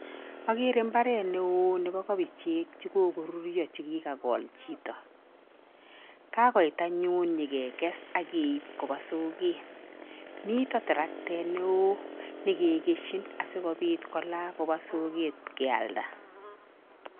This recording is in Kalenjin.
Agere mbaret neo nebo kobichek che kokoruryo chekikakol chito. Kakoit anyun nyikekes akeip kopa soket. Mitei taroktet neo nekikeshin asikopit kola kopa soket kealda.